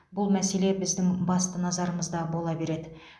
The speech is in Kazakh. бұл мәселе біздің басты назарымызда бола береді